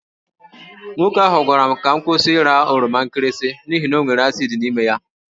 Nwoke ahụ gwara m ka m kwụsị ịra oroma nkịrịsị n’ihi na ọ nwere asid n’ime ya.